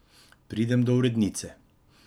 Pridem do urednice.